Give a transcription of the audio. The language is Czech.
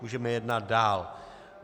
Můžeme jednat dále.